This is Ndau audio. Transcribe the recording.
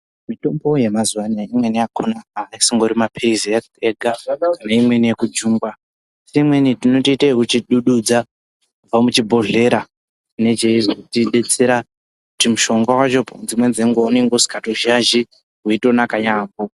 Mitombo yemazuva anaya imweni yakona aasingori mapirizi ega tineimweni yekujungwa neimweni tinotoite ekuchidududza kubva muchibhodhlera chine cheizotidetsera, mushonga wacho dzimweni dzenguwa unenge usikatozhazhi weitonaka yambo.